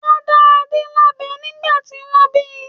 Wọ́n dá Adé lábẹ nígbà tí wọ́n bí.